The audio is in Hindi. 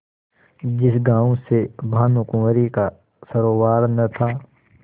जिस गॉँव से भानुकुँवरि का सरोवार न था